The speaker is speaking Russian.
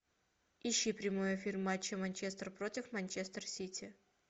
ищи прямой эфир матча манчестер против манчестер сити